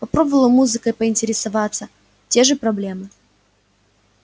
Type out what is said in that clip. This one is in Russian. попробовала музыкой поинтересоваться те же проблемы